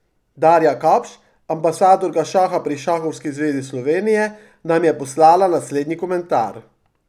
Darja Kapš, ambasadorka šaha pri Šahovski zvezi Slovenije, nam je poslala naslednji komentar.